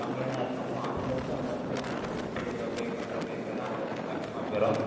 கம்மியாதான் இருக்கும். அப்போ, அதுல இருந்து, அவங்க வந்து, monthly monthly, இவ்வளவு pay பண்ற மாரி இருக்கிறது, அவங்களுக்கு வந்து, கஷ்டமா போயிரும்.